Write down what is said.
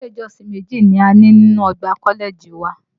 Ilé ìjọsìn méjì ni a ní nínú ọgbà kọ́lẹ́ẹ̀jì wa